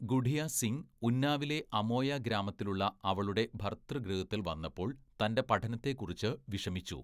"ഗുഡിയ സിംഗ് ഉന്നാവിലെ അമോയ ഗ്രാമത്തിലുള്ള അവളുടെ ഭര്‍തൃഗൃഹത്തില്‍ വന്നപ്പോള്‍ തന്റെ പഠനത്തെക്കുറിച്ച് വിഷമിച്ചു. "